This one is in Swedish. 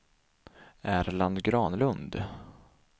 Erland Granlund